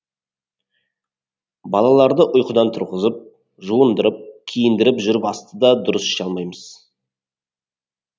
балаларды ұйқыдан тұрғызып жуындырып киіндіріп жүріп асты да дұрыс іше алмаймыз